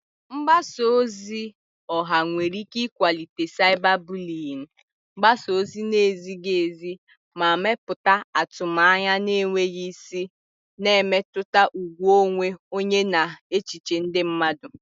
Mgbasa ozi ọha nwere ike ịkwalite cyberbullying, gbasaa ozi na-ezighi ezi, ma mepụta atụmanya na-enweghị isi, na-emetụta ùgwù onwe onye na echiche ndị mmadụ.